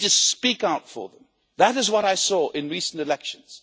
You need to speak out for them. That is what I saw in recent elections.